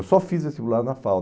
Eu só fiz vestibular na FAO.